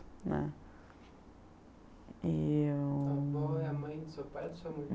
né. E eu... A avó é a mãe do seu pai ou da sua mãe?